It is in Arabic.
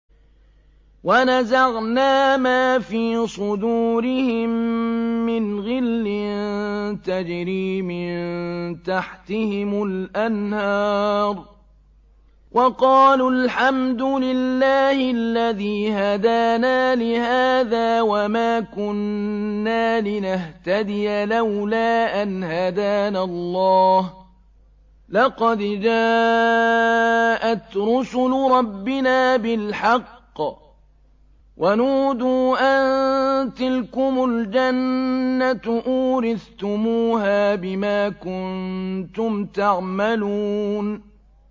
وَنَزَعْنَا مَا فِي صُدُورِهِم مِّنْ غِلٍّ تَجْرِي مِن تَحْتِهِمُ الْأَنْهَارُ ۖ وَقَالُوا الْحَمْدُ لِلَّهِ الَّذِي هَدَانَا لِهَٰذَا وَمَا كُنَّا لِنَهْتَدِيَ لَوْلَا أَنْ هَدَانَا اللَّهُ ۖ لَقَدْ جَاءَتْ رُسُلُ رَبِّنَا بِالْحَقِّ ۖ وَنُودُوا أَن تِلْكُمُ الْجَنَّةُ أُورِثْتُمُوهَا بِمَا كُنتُمْ تَعْمَلُونَ